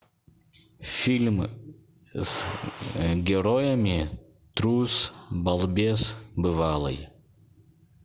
фильм с героями трус балбес бывалый